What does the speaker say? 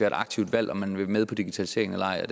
et aktivt valg om man vil være med på digitaliseringen eller ej og